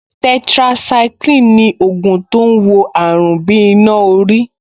Tetracycline ni ògùn tó ń wo àrùn bí iná orí